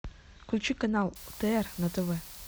включи канал отр на тв